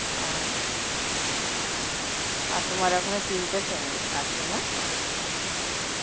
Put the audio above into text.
আর আর তোমার এখনো তিনটে sem আছে না?